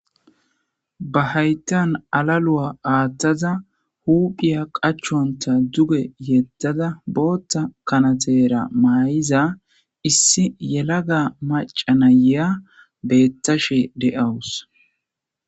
ba hayttan alalu7a aaththaza huphiya qachonta duge yettada bootta kanatera maay7iza issi yelaga macanayea beettashe de7awus